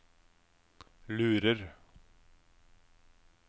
lurer